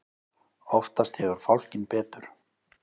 Oftast hefur fálkinn betur.